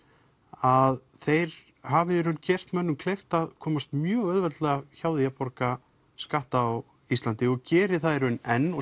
að þeir hafi gert mönnum kleift að komast mjög auðveldlega hjá því að borga skatta á Íslandi og geri það í raun enn og